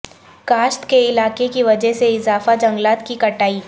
کاشت کے علاقے کی وجہ سے اضافہ جنگلات کی کٹائی